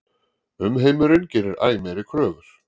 Umheimurinn gerir æ meiri kröfur.